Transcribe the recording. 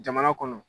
Jamana kɔnɔ